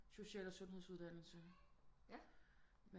social og sundhedsuddannelserne